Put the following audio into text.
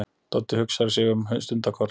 Doddi hugsar sig um stundarkorn.